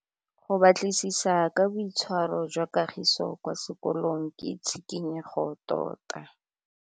Go batlisisa ka boitshwaro jwa Kagiso kwa sekolong ke tshikinyêgô tota.